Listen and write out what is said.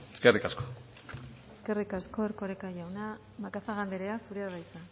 eskerrik asko eskerrik asko erkoreka jauna macazaga andrea zurea da hitza